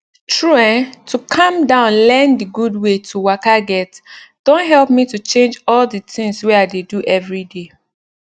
true eh to calm down learn d gud wey to waka get don help me to change all d tinz wey i dey do everyday